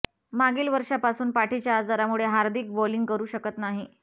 मागील वर्षापासून पाठीच्या आजारामुळे हार्दिक बोलिंग करु शकत नाही